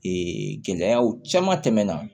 gɛlɛyaw caman tɛmɛna